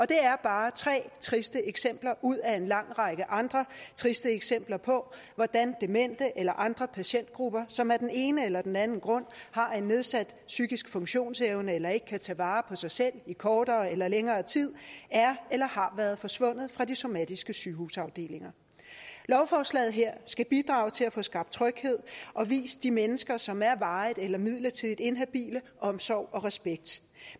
det er bare tre triste eksempler ud af en lang række andre triste eksempler på hvordan demente eller andre patientgrupper som af den ene eller den anden grund har en nedsat psykisk funktionsevne eller ikke kan tage vare på sig selv i kortere eller længere tid er eller har været forsvundet fra de somatiske sygehusafdelinger lovforslaget her skal bidrage til at få skabt tryghed og vise de mennesker som er varigt eller midlertidigt inhabile omsorg og respekt